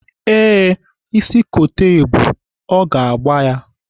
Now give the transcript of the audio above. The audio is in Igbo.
Ee, ịsị kote ebu, ọ ga-agba